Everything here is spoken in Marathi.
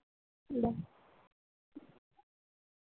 Bye.